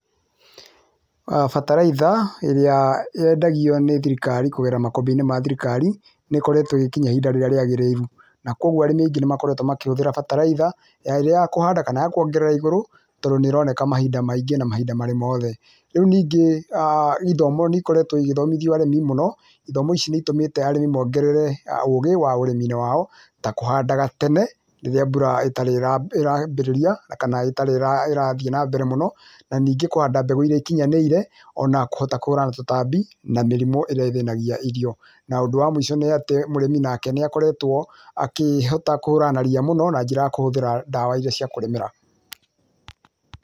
Bataraitha ĩrĩa yendagio nĩ thirikari kũgerera makabuni ma thirikari nĩ koretwo ĩgĩkinya ihinda rĩrĩa rĩagĩrĩru na kwoguo arĩmi angĩ nĩmakoretwo makĩhuthĩra bataraitha ĩrĩa ya kũhanda kana ya kwongerera igũrũ tondũ nĩroneka mahinda maingĩ na mahinda marĩ mothe. Rĩu ningĩ[uuhh]ithomo nĩikorete ĩgĩthomithio nĩ arĩmi mũno ,ithomo ici nĩitũmĩte arĩmi mongerere ũgĩ wa ũrĩmiinĩ wao ta kũhandaga tene rĩrĩa mbura ĩtarĩ ĩrambĩrĩria kana ĩtarĩ ĩrathi na mbere mũno na ningĩ kũhanda mbegũ irĩa ikinyanĩire ona kũhota kũhura tũtambi na mĩrimũ ĩrĩa ĩthĩnagia irio, na ũndũ wa mũico nĩ atĩ mũrĩmi nake nĩakoretwo akĩhota kũhũrana na ria na njĩra ya kũhũthĩra ndawa iria cia kũrĩmĩra.